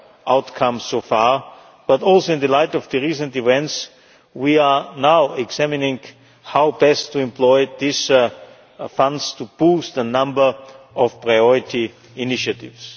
outcomes so far, but also in the light of recent events we are now examining how best to employ these funds to boost the number of priority initiatives.